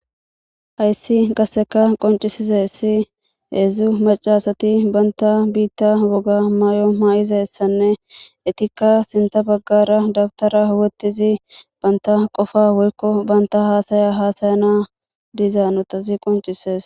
Hayssi qasseka qoncisizessi heedzdzu macasati banta biitta woga maay7o maay7izassanne etikka sinta baggara dabtara wotizi banta qofa woykko banta haasaya haasayana dizaa notazi qoncises.